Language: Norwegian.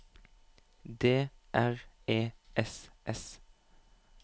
D R E S S